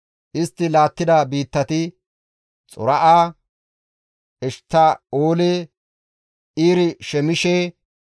Istti laattida biittati Xora7a, Eshtta7oole, Ir-Shemeeshe,